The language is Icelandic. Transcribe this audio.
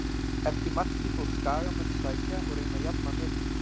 Eftir markið fóru skagamenn að sækja og reyna að jafna metin.